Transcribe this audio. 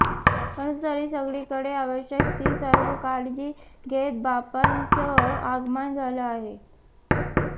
परंतु तरीही सगळीकडे आवश्यक ती सर्व काळजी घेत बाप्पाचं आगमन झालं आहे